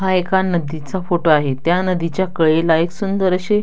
हा एका नदीचा फोटो आहे त्या नदीच्या कडेला एक सुंदर अशी--